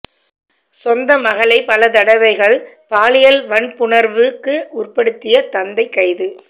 சொந்த மகளை பல தடவைகள் பாலியல் வன்புணர்வுக்கு உட்படுத்திய தந்தை கைது